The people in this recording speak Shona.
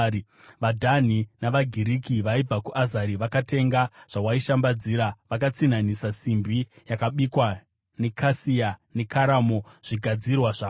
“ ‘VaDhani navaGiriki vaibva kuUzari vakatenga zvawaishambadzira; vakatsinhanisa simbi yakabikwa, nekasia, nekaramo zvigadzirwa zvako.